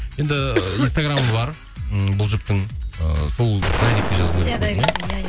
енді инстаграмы бар ммм бұл жұптың ыыы сол дайректке жазу